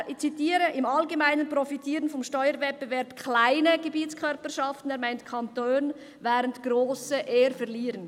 Ich zitiere: «Im Allgemeinen profitieren vom Steuerwettbewerb kleine Gebietskörperschaften,», er meint Kantone, «während grosse eher verlieren.»